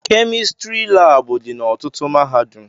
Kemịstrị labụ dị na ọtụtụ mahadum